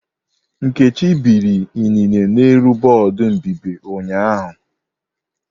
Nkechi biri inine n'elu bọọdụ mbíbì ụnyaahụ.